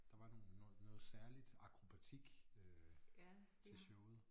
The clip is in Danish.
Der var nogle noget særligt akrobatik øh til showet